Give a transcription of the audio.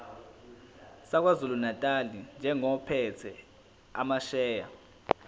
sakwazulunatali njengophethe amasheya